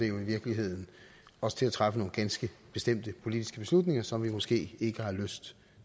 jo i virkeligheden til at træffe nogle ganske bestemte politiske beslutninger som vi måske ikke har lyst